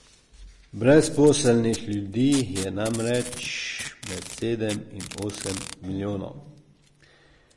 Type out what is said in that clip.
Brezposelnih ljudi je namreč med sedem in osem milijonov.